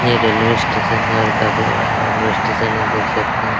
ये railway station है और काफी बड़ा रेलवे स्टेशन है देख सकते हैं।